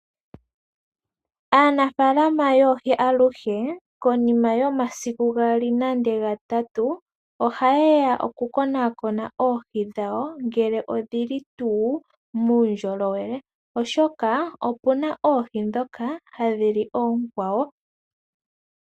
Aanafaalama yoohi aluhe konima yomasiku gaali nande gatatu ohaye ya okukonakona oohi dhawo ngele odhili tuu muundjolowele oshoka opuna oohi ndhoka hadhi li oonkwawo.